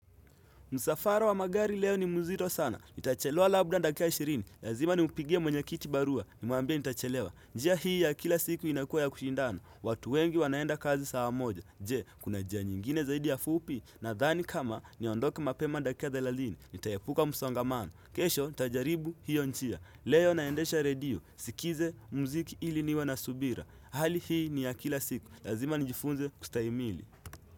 Musafara wa magari leo ni muzito sana. Nitachelewa labda dakika ishirini. Lazima ni mpigie mwenye kiti barua. Nimwambie nitachelewa. Njia hii ya kila siku inakua ya kuchindana. Watu wengi wanaenda kazi saa moja. Je, kuna njia nyingine zaidi ya fupi? Nadhani kama niondoke mapema ndakika thelathini. Itayaepuka msongamano. Kesho, nitajaribu hiyo njia. Leo naendesha radio. Sikize muziki ili niwe na subira. Hali hii ni ya kila siku. Lazima njifunze kustahiimili.